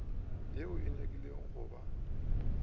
ye e nyakilego go ba